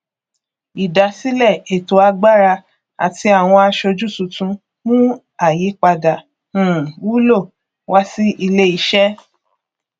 ìdásílẹ ètò agbára àti àwọn aṣojú tuntun mú àyípadà um wúlò wá sí iléiṣẹ